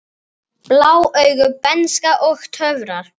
Blá augu, bernska og töfrar